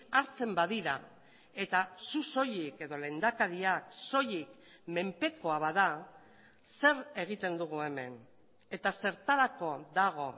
hartzen badira eta zu soilik edo lehendakariak soilik menpekoa bada zer egiten dugu hemen eta zertarako dago